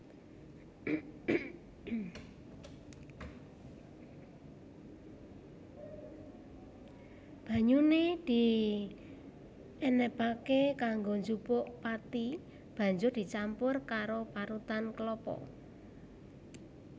Banyune dienebake kanggo njupuk pathi Banjur dicampur karo parutan klapa